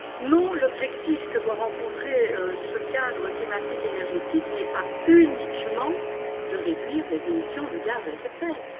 Non, l'objectif que doit atteindre ce cadre climatique et énergétique n'est pas uniquement de réduire les émissions de gaz à effet de serre.